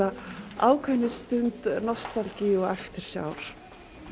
ákveðinni stund nostalgíu og eftirsjár